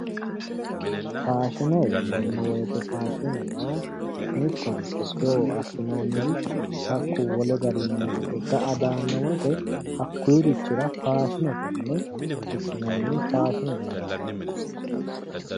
Faashine ,faashine yineemmo woyte mittoricho tewo assinoommorichi hakku wole barra ga'a daano woyte hakkurichira faashinete yinne fushinonniho faashinete yaate.